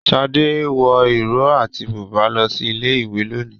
Shade wọ ìró àti bùbá lọ sí ilé ìwé lónìí.